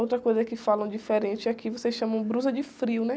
Outra coisa que falam diferente é que aqui vocês chamam blusa de frio, né?